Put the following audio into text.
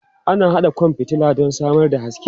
Ana haɗa kwan fitila don samar da haske.